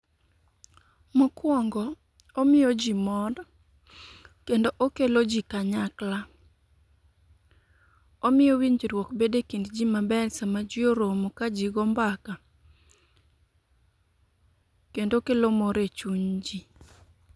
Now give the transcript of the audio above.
Mokwongo omiyo ji mor kendo okelo ji kanyakla. Omiyo winjruok bedo e kind ji maber sama ji oromo ka ji go mbaka, kendo okelo mor e chuny ji.